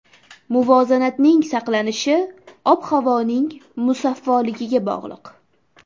Muvozanatning saqlanishi ob-havoning musaffoligiga bog‘liq.